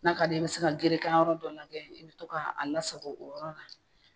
N'a ka di ko ye, i bɛ se ka gerekan yɔrɔ dɔ lajɛ kɛ i bɛ to 'a lasako o yɔrɔ la